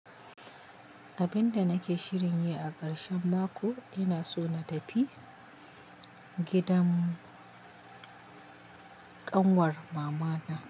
Abinda nake shirin yi a karshen mako ina so na tafi gidan ƙanwar mamana.